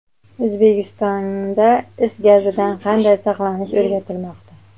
O‘zbekistonda is gazidan qanday saqlanish o‘rgatilmoqda.